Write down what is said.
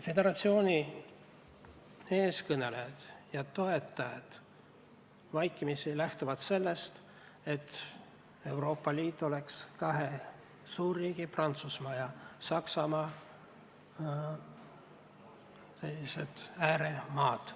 Föderatsiooni eestkõnelejad ja toetajad lähtuvad vaikimisi sellest, et Euroopa Liit koosneb valdavalt kahest suurriigist, Prantsusmaast ja Saksamaast, ning ülejäänud on nende ääremaad.